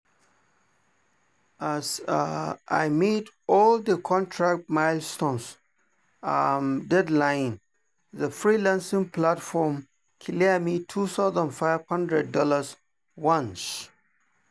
as i meet all the contract milestone deadline the freelancing platform clear me $2500 once.